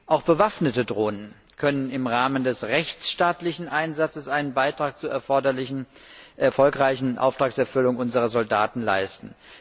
Auch bewaffnete Drohnen können im Rahmen des rechtsstaatlichen Einsatzes einen Beitrag zur erfolgreichen Auftragserfüllung unserer Soldaten leisten.